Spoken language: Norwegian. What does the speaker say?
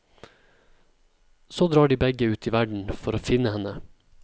Så drar de begge ut i verden for å finne henne.